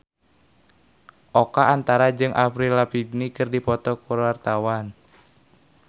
Oka Antara jeung Avril Lavigne keur dipoto ku wartawan